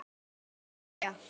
Þú ert hetja.